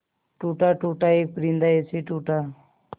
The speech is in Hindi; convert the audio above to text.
टूटा टूटा एक परिंदा ऐसे टूटा